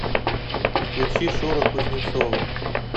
включи шура кузнецова